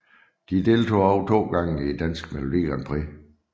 De deltog også to gange i Dansk Melodi Grand Prix